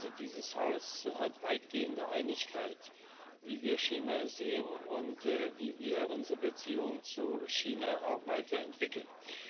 Also, dieses Haus hat weitgehende Einigkeit, wie wir China sehen und wie wir unsere Beziehung zu China auch weiterentwickeln.